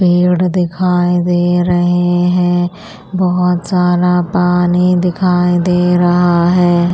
पेड़ दिखाई दे रहे हैं बहुत सारा पानी दिखाई दे रहा है।